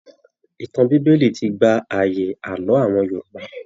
Ìtàn bíbélì ti gba àyè Àlọ awọn Yorùbá.